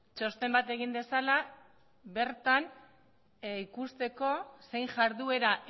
txosten bat egin dezala bertan ikusteko zein jarduera